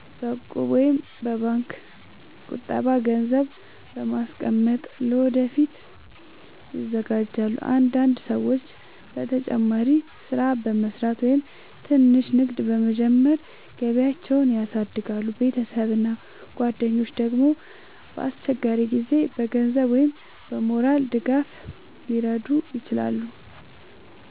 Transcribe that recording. በእቁብ ወይም በባንክ ቁጠባ ገንዘብ በማስቀመጥ ለወደፊት ይዘጋጃሉ። አንዳንድ ሰዎች ተጨማሪ ሥራ በመስራት ወይም ትንሽ ንግድ በመጀመር ገቢያቸውን ያሳድጋሉ። ቤተሰብ እና ጓደኞች ደግሞ በአስቸጋሪ ጊዜ በገንዘብ ወይም በሞራል ድጋፍ ሊረዱ ይችላሉ።